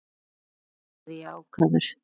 sagði ég ákafur.